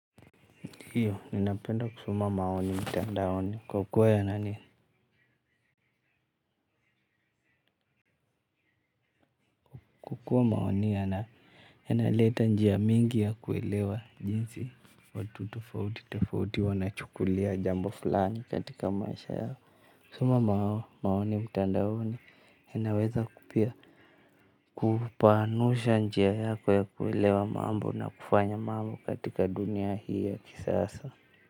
Ndiyo, ninapenda kusoma maoni mitandaoni kwa kuwa yanani. Kwa kuwa maoni yanaleta njia mingi ya kuelewa jinsi watu tofauti, tofauti, wanachukulia jambo fulani katika maisha yao. Kusoma maoni mtandaoni, inaweza kupea kupanusha njia yako ya kuelewa mambo na kufanya mambo katika dunia hii ya kisasa.